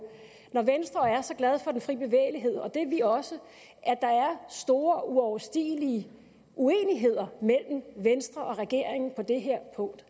når venstre er så glad for den frie bevægelighed og det er vi også at der er store uoverstigelige uenigheder mellem venstre og regeringen på det her punkt